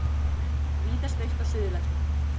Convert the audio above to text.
Víðast autt á Suðurlandi